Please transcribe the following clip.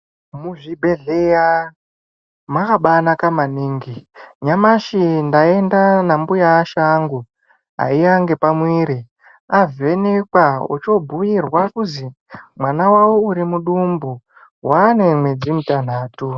Muzvibhedhleya mwakabaanaka maningi nyamashi ndaenda nambuya asha angu aiya nepamuviri avhenekwa ochobhuirwa kusi mwana wawo uri mudumbo waane mwedzi mutanhatu.